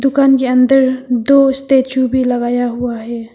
दुकान के अंदर दो स्टैचू भी लगाया हुआ है।